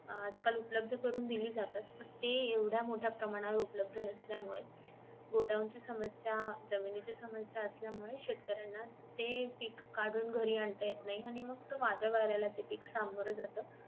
आजकाल उपलब्ध करून दिली जातात ती एवढ्या प्रमाणात उपलब्ध नसल्यामुळे गोधावून समस्या जमिनीची समस्या असल्या मुळे शेतकऱ्यांना ते पीक कडून घरी आणता येत नाही आणि मग ते वादळ वाऱ्याला ते पीक समोर जात